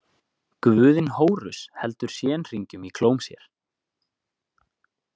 Guðinn Hórus heldur shen-hringjum í klóm sér.